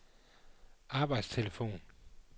arbejdstelefon